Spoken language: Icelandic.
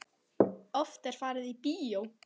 Oft er farið í bíó.